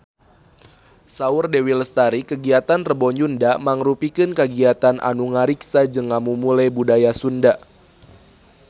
Saur Dewi Lestari kagiatan Rebo Nyunda mangrupikeun kagiatan anu ngariksa jeung ngamumule budaya Sunda